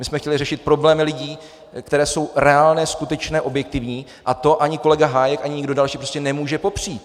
My jsme chtěli řešit problémy lidí, které jsou reálné, skutečné, objektivní, a to ani kolega Hájek, ani nikdo další prostě nemůže popřít.